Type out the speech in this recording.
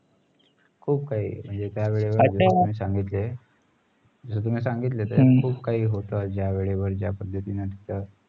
खुप काही त्या वेळे वर सांगितले तुमी सांगितले खुप काही जा वेळेवर जा पद्धतींनी तीत